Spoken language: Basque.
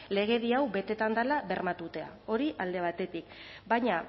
legedi hau betetzen dela bermatzea hori alde batetik baina